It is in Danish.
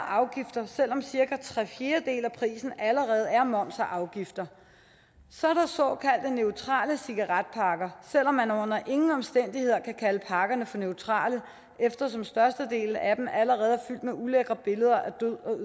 afgifter selv om cirka tre fjerdedele af prisen allerede er moms og afgifter så er der såkaldte neutrale cigaretpakker selv om man under ingen omstændigheder kan kalde pakkerne for neutrale eftersom størstedelen af dem allerede er fyldt med ulækre billeder